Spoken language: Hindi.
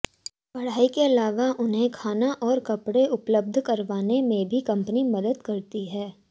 पढ़ाई के अलावा उन्हें खाना और कपड़े उपलब्ध करवाने में भी कंपनी मदद करती है